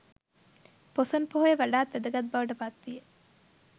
පොසොන් පොහොය වඩාත් වැදගත් බවට පත්විය.